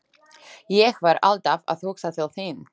Ég var alltaf að hugsa til þín.